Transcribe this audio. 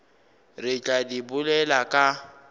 re tla di bolela ka